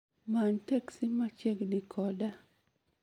Many teksi machiegni koda